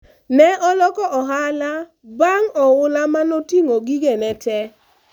alibadilisha biashara baada ya mafuriko iliyobeba vitu vyake vyote